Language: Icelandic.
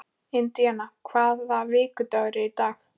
Indiana, hvaða vikudagur er í dag?